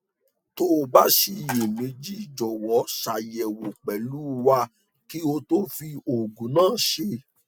tó o bá ṣiyèméjì jọwọ ṣàyẹwò pẹlú wa kí o tó fi oògùn náà ṣe